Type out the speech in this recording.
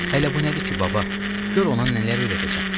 Hələ bu nədir ki, baba, gör ona nələr öyrədəcəm.